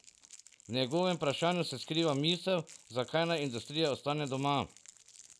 V njegovem vprašanju se skriva misel, zakaj naj industrija ostane doma.